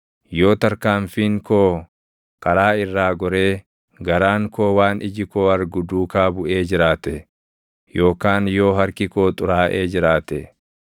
yoo tarkaanfiin koo karaa irraa goree, garaan koo waan iji koo argu duukaa buʼee jiraate yookaan yoo harki koo xuraaʼee jiraate,